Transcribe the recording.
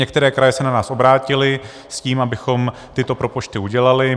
Některé kraje se na nás obrátily s tím, abychom tyto propočty udělali.